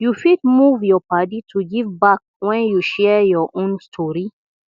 you fit move yur padi to give back wen yu share yur own stori